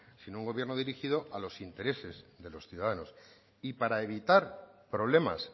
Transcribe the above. sino un gobierno dirigido a los intereses de los ciudadanos y para evitar problemas